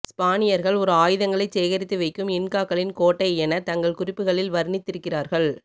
ஸ்பானியர்கள் ஒரு ஆயுதங்களைச் சேகரித்து வைக்கும் இன்காக்களின் கோட்டைஎன தங்கள் குறிப்புகளில் வர்ணித்திருக்கிறார்கள்